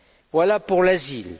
Voilà pour l'asile.